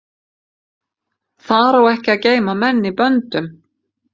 Þar á ekki að geyma menn í böndum.